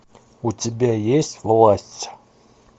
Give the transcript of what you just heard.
у тебя есть власть